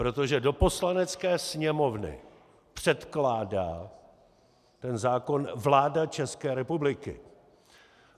Protože do Poslanecké sněmovny předkládá ten zákon vláda České republiky.